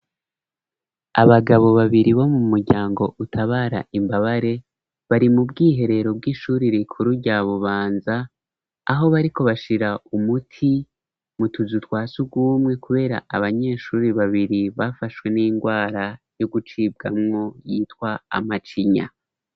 Abagabo babiri bo mu muryango utabara imbabare bari mu bwiherero bw'ishuri rikuru rya bubanza aho bariko bashira umuti mutuzu twasugumwe kubera abanyeshuri babiri bafashwe n'indwara yo gucibwamwo yitwa amacinya.